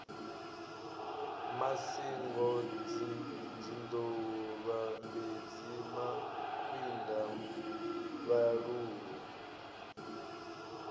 masingo dzinḓou vhambedzi makwinda vhaluvhu